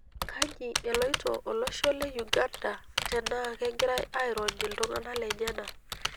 Kaji eloito olosho le Uganda tenaa kegirai airony iltung'ana lenyana.